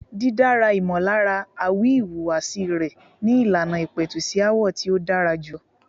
Dídárí ìmọllára àwi ìwùwàsí rẹ ni ìlànà ìpẹ̀tù sí aáwọ̀ tí ó dára jùlọ.